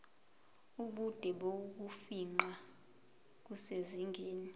ubude bokufingqa kusezingeni